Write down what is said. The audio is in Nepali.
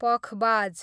पखबाज